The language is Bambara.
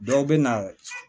Dɔw bɛ na